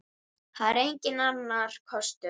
Það er enginn annar kostur.